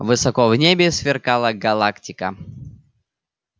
высоко в небе сверкала галактика